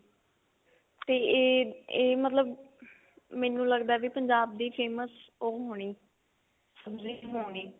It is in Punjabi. ਤੇ ਇਹ ਇਹ ਮਤਲਬ ਮੈਨੂੰ ਲੱਗਦਾ ਵੀ ਪੰਜਾਬ ਦੀ famous ਉਹ ਹੋਣੀ ਸਬ੍ਜ਼ੀ ਹੋਣੀ